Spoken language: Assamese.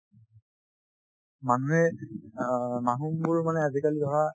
মানুহে অ মানুহবোৰ মানে আজিকালি ধৰা